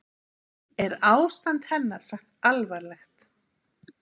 Er ástand hennar sagt alvarlegt